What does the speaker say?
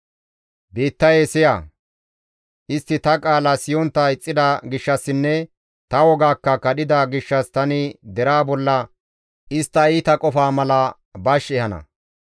Biittayee siya! Istti ta qaala siyontta ixxida gishshassinne ta wogaakka kadhida gishshas tani deraa bolla istta iita qofaa mala bash ehana.